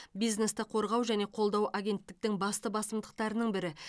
бизнесті қорғау және қолдау агенттіктің басты басымдықтарының бірі